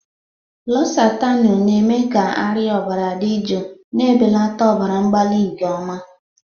Losatanu na-eme ka arịa ọbara dị jụụ, na-ebelata ọbara mgbali nke ọma.